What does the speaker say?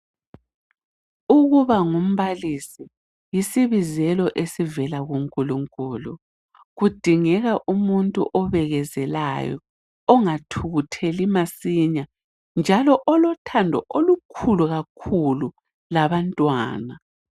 Ukuba ngumbalisi yisibizelo esivela kuNkulunkulu. Kudingeka umuntu obekezelayo ongathukutheli masinya njalo olothando olukhulu kakhulu labantwana.